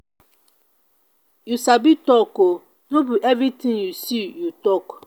you sabi talk oo no be everything you see you talk